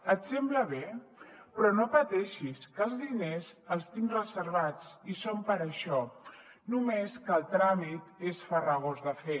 et sembla bé però no pateixis que els diners els tinc reservats i són per a això només que el tràmit és farragós de fer